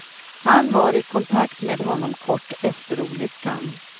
Han var i kontakt med honom kort efter olyckan.